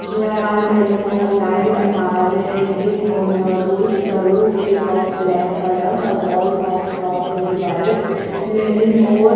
there are many more light are hanging on the dhoof the roof is of black colour the walls of top is white many more--